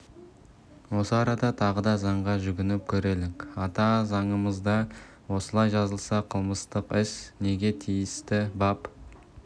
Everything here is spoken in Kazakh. осы арада тағы да заңға жүгініп көрелік ата заңымызда осылай жазылса қылмыстық іс неге тиісті бап